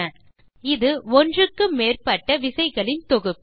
short cut விசைகள் என்பது ஒன்றுக்கு மேற்பட்ட விசைகளின் தொகுப்பு